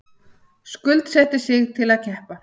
Skuldsetti sig til að keppa